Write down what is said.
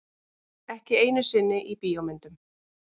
Ekki einu sinni í bíómyndum.